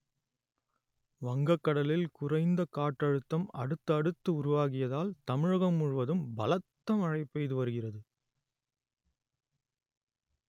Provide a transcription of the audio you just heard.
வங்கக்கடலில் குறைந்த காற்றழுத்தம் அடுத்தடுத்து உருவாகியதால் தமிழகம் முழுவதும் பலத்த மழை பெய்து வருகிறது